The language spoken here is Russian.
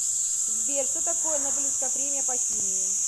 сбер что такое нобелевская премия по химии